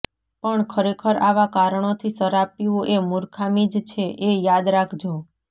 પણ ખરેખર આવા કારણોથી શરાબ પીવો એ મૂર્ખામી જ છે એ યાદ રાખજો